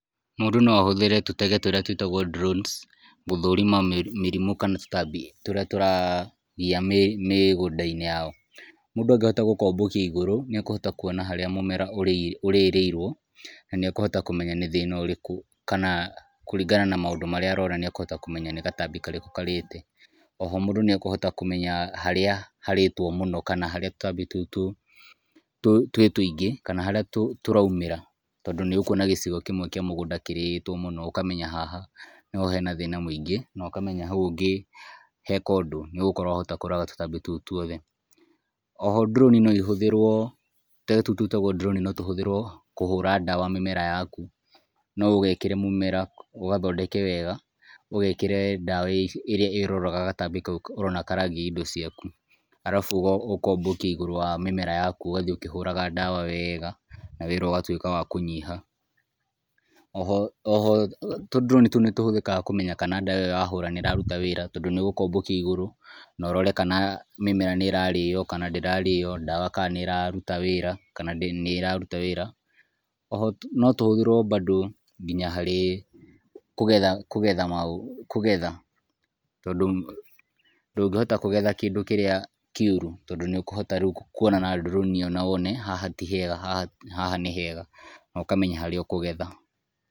Mũndũ noahũthĩre tũtege tũrĩa twĩtagũo [sc] drones [sc] gũthũrima mĩrimũ kana tũtambi tũrĩa tũragia mĩgunda-inĩ yao. Mũndũ angĩhota gũkombũkia igũrũ nĩekũhota kũona harĩa mũmera harĩa ũrĩrĩirũo na niekũhota kũmenya nĩ thĩna ũrĩku kana kũringana na maũndũ marĩa arona nĩekũhota kũmenya nĩ gatambi karĩkũ karĩte. Oho, mũndũ nĩekũhota kũmenya harĩa harĩtũo mũno kana harĩa tũtambĩ tũtũ twĩ tũingĩ kana harĩa tũraumĩra, tondũ nĩukũona gicigo kĩmwe kĩa mugunda kĩrĩtwo mũno ũkamenya haha nĩho henathĩna mũingĩ, no ũkamenya haũ ũngĩheka ũndũ wahota kũraga tutambi tũu tũothe. Oho, [sc] drone [sc] noĩhũthĩrwo, tutege tũu twĩtagũo [sc] drone [sc] notũhũthĩrwo kũhũra ndawa mĩmera yaku. Noũgekĩre mũmera, ũgathondeke wega ũgekĩre ndawa ĩrĩa ĩroraga gatambi kaũ ũrona karagia indo ciaku. Arabu ũkombũkia igũrũ rĩa mĩmera yaku ũgathiĩ ũkĩhũraga ndawa yaku wega na wira ugatwĩka wa kũnyiha. Oho, tu [sc] drone [sc] tũũ nĩtũhũthikaga kũmenya kana ndawa iyo wahũra nĩrarũta wĩra tondũ nĩgũkombũkia igũrũ na ũrore kana mĩmera nĩ ĩrarĩo kana ndĩrarĩo, ndawa kana nĩrarũta wĩra kana ndĩ nĩrarũta wĩra. Oho, notũhũthĩrwo bandũ nginya harĩ kũgetha kũgetha kũgetha, tondũ ndũngĩhota kũgetha kĩndũ kĩrĩa kĩũru tondũ nĩukũhota kũona na [sc] drone [sc] iyo wone haha tihega haha nĩhega na ũkamenya harĩa ũkũgetha.